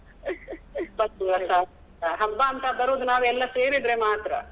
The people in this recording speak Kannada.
ಹಬ್ಬ ಅಂತ ಬರುದು ನಾವೆಲ್ಲ ಸೇರಿದ್ರೆ ಮಾತ್ರ.